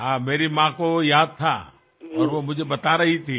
हाँ मेरी माँ को याद था और वो मुझे बता रही थी